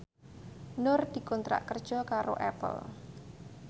Nur dikontrak kerja karo Apple